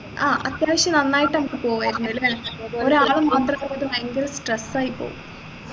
ആ അത്യാവശ്യം നന്നായിട്ട് അൻക്ക് പോവുയായിരുന്നല്ലേ ഒരാൾ മാത്രായിട്ട് ഭയങ്കര stress ആയിപ്പോവും